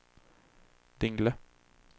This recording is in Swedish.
Dingle